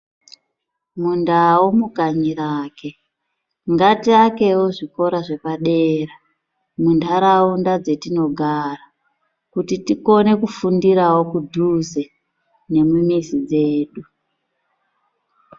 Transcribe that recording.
Mundau mukanyi rake, ngatiakewo zvikora zvepadera, mundaraunda dzetinogara kuti tikone kufundirawo kudhuze nemumizi dzedu.